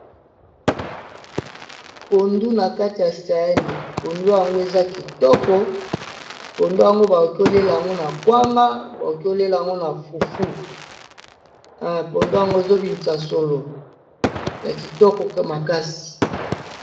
Pondu na kati ya saani, mpondu yango eza kitoko, mpondu yango bakoki koliéla yango na kwanga, bakoki koliéla yango na fufu, mpondu yango ezo bimisa solo ya kitoko makasi.